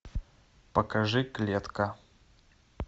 покажи клетка